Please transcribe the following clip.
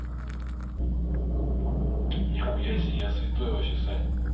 нихуя себе я святой вообще сань